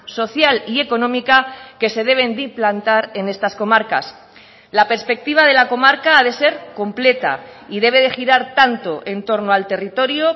social y económica que se deben de implantar en estas comarcas la perspectiva de la comarca ha de ser completa y debe de girar tanto en torno al territorio